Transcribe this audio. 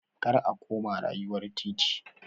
Kar a koma rayuwar titi!